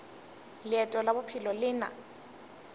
leeto la bophelo le na